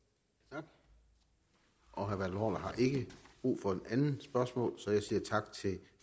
tak og herre bertel ikke brug for det andet spørgsmål så jeg siger tak til